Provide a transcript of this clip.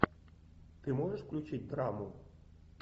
ты можешь включить драму